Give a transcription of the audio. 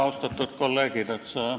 Austatud kolleegid!